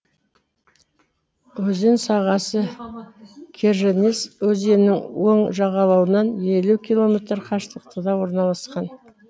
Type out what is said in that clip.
өзен сағасы керженец өзенінің оң жағалауынан елу километр қашықтықта орналасқан